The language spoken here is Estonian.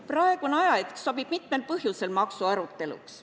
Praegune ajahetk sobib mitmel põhjusel maksuaruteluks.